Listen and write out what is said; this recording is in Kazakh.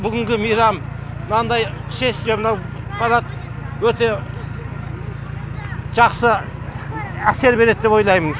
бүгінгі мейрам мынандай шествие мынау парад өте жақсы әсер береді деп ойлаймын